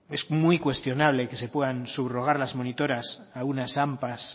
es muy cuestionable que se puedan subrogar las monitoras a unas ampa